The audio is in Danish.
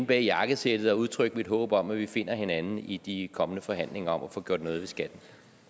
bag jakkesættet og udtrykke mit håb om at vi finder hinanden i de kommende forhandlinger om at få gjort noget ved skatten